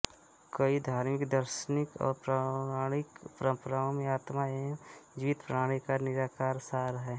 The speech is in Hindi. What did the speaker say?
कई धार्मिक दार्शनिक और पौराणिक परंपराओं में आत्मा एक जीवित प्राणी का निराकार सार है